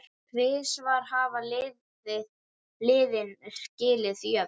Tvisvar hafa liðin skilið jöfn.